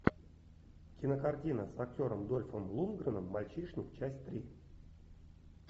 кинокартина с актером дольфом лундгреном мальчишник часть три